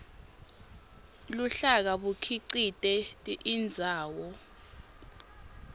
luhlaka bukhicite indzaba